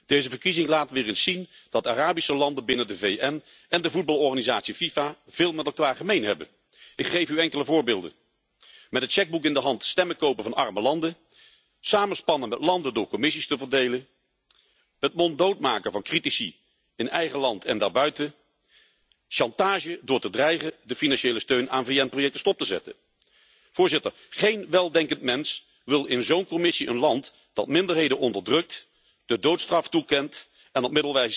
Deze verkiezing laat weer eens zien dat Arabische landen binnen de VN en de voetbalorganisatie FIFA veel met elkaar gemeen hebben. Ik geef u enkele voorbeelden met het chequeboek in de hand stemmen kopen van arme landen, samenspannende landen door commissies te verdelen, het monddood maken van critici in eigen land en daarbuiten, chantage door te dreigen de financiële steun aan VN projecten stop te zetten. Geen weldenkend mens wil in zo'n commissie een land dat minderheden onderdrukt, de doodstraf toekent en op